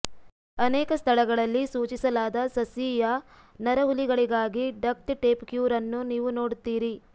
ಅನೇಕ ಸ್ಥಳಗಳಲ್ಲಿ ಸೂಚಿಸಲಾದ ಸಸ್ಯೀಯ ನರಹುಲಿಗಳಿಗಾಗಿ ಡಕ್ಟ್ ಟೇಪ್ ಕ್ಯೂರ್ ಅನ್ನು ನೀವು ನೋಡುತ್ತೀರಿ